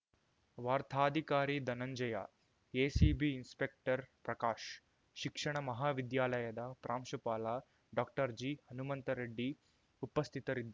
ವಾರ್ತಾಧಿಕಾರಿ Dhananjaya ACB inspector Prakash ಶಿಕ್ಷಣ ಮಹಾವಿದ್ಯಾಲಯದ ಪ್ರಾಂಶುಪಾಲ ಡಾಕ್ಟರ್ಜಿಹನುಮಂತರೆಡ್ಡಿ ಉಪಸ್ಥಿತರಿದ್ದ